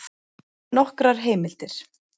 Nokkrar heimildir: